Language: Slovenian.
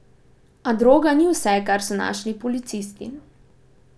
A, droga ni vse, kar so našli policisti.